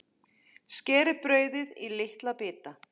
Skerið brauðið í litla bita.